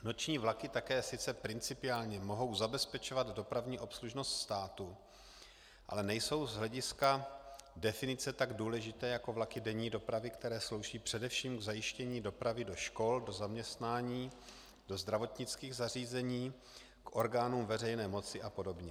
Noční vlaky také sice principiálně mohou zabezpečovat dopravní obslužnost státu, ale nejsou z hlediska definice tak důležité jako vlaky denní dopravy, které slouží především k zajištění dopravy do škol, do zaměstnání, do zdravotnických zařízení, k orgánům veřejné moci a podobně.